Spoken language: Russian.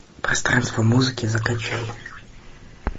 пространство музыки закачай